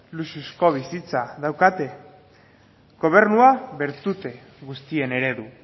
luxuzko bizitza daukate gobernua bertute guztien eredu